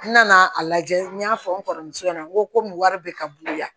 N nana a lajɛ n y'a fɔ n kɔrɔmuso ɲɛna n ko wari bɛ ka bolo la